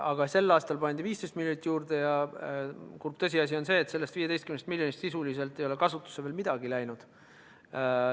Aga sel aastal pandi 15 miljonit juurde, ja kurb tõsiasi on see, et sellest 15 miljonist sisuliselt ei ole kasutusse veel midagi läinud.